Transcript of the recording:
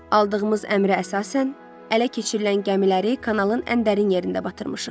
Aldığımız əmrə əsasən ələ keçirilən gəmiləri kanalın ən dərin yerində batırmışıq.